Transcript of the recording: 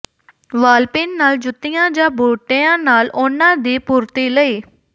ਵਾਲਪਿਨ ਨਾਲ ਜੁੱਤੀਆਂ ਜਾਂ ਬੂਟਿਆਂ ਨਾਲ ਉਨ੍ਹਾਂ ਦੀ ਪੂਰਤੀ ਲਈ